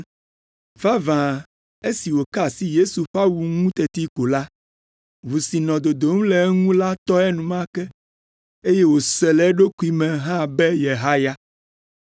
Vavã esi wòka asi Yesu ƒe awu ŋu teti ko la, ʋu si nɔ dodom le eŋu la tɔ enumake, eye wòse le eɖokui me hã be yehaya.